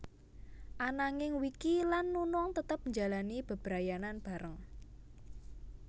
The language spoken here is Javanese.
Ananging Wiki lan Nunung tetep njalani bebrayanan bareng